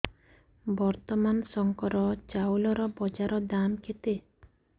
ବର୍ତ୍ତମାନ ଶଙ୍କର ଚାଉଳର ବଜାର ଦାମ୍ କେତେ